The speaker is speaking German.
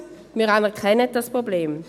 wir anerkennen dieses Problem.